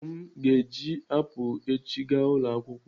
Ụmụ m ga-eji apụl echi gaa ulo akwụkwọ.